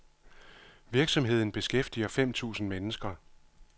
Virksomheden beskæftiger femten tusind mennesker.